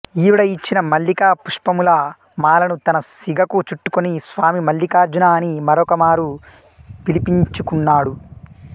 ఈవిడ ఇచ్చిన మల్లికా పుష్పముల మాలను తన సిగకు చుట్టుకుని స్వామి మల్లికార్జునా అని మరొకమారు పిలిపించుకున్నాడు